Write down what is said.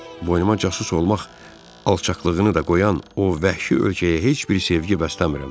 Boynuma casus olmaq alçaqlığını da qoyan o vəhşi ölkəyə heç bir sevgi bəsləmirəm.